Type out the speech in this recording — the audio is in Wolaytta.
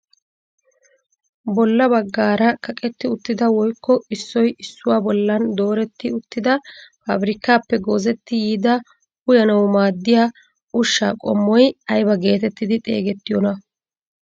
Bolla baggaara kaqetti uttida woykko issoy issuwaa bollan dooretti uttida pabirkkaappe goozetti yiida uyanawu maaddiyaa ushshshaa qommoy aybaa getetti xeegettiyoonaa?